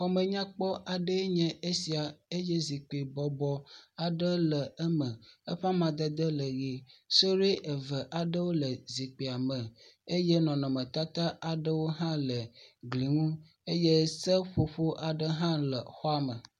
Xɔme nya kpɔ aɖe enye esia eye zikpui bɔbɔ aɖe le eme. Eƒe amadede le ʋie. Suɖui eve aɖe le zikpuia me eye nɔnɔmetata aɖewo hã le gli ŋu eye seƒoƒo aɖa hã le xɔa me.